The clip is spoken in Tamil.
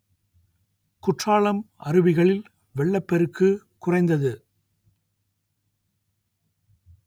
குற்றாலம் அருவிகளில் வெள்ளப் பெருக்கு குறைந்தது